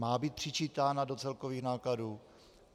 Má být přičítána do celkových nákladů?